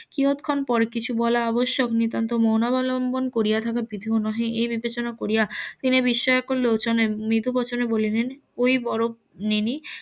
কিয়ৎক্ষণ পর কিছু বলা অবশ্য নিতান্ত মন অবলম্বন করিয়া থাকার . নহে এই বিবেচনা করিয়া তিনি বিস্ময়কর লোচনে মৃদু বচনে বলিলেন .